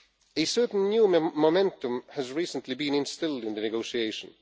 A certain new momentum has recently been instilled into the negotiations.